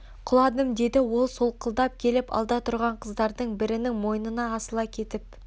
құладым деді ол солқылдап келіп алда тұрған қыздардың бірінің мойнына асыла кетіп